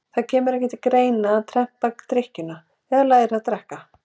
Það kemur ekki til greina að reyna að tempra drykkjuna eða læra að drekka.